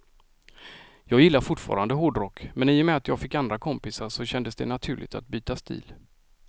Jag gillar fortfarande hårdrock, men i och med att jag fick andra kompisar så kändes det naturligt att byta stil.